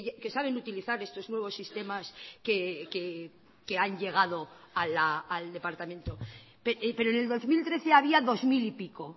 que saben utilizar estos nuevos sistemas que han llegado al departamento pero en el dos mil trece había dos mil y pico